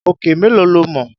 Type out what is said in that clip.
Òkè mélòó lo mọ̀?